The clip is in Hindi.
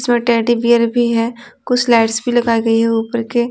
इसमें टेडी बियर भी है कुछ लाइट्स भी लगाई गई है ऊपर के.--